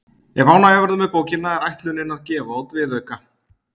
Ef ánægja verður með bókina er ætlunin að gefa út viðauka.